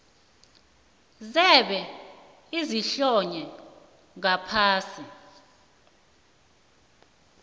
zebee ezihlonywe ngaphasi